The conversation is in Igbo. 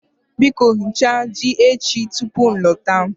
Biko Ghichaa ji echi tupu m alọta